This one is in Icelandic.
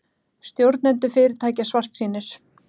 Stjórnendur fyrirtækja svartsýnir